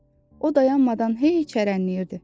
O dayanmadan hey cırıldayırdı.